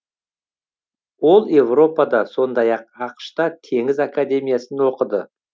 ол европада сондай ақ ақш та теңіз академиясын оқыды